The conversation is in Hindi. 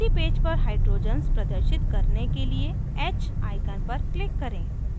उसी पेज पर hydrogens प्रदर्शित करने के लिए h icon पर click करें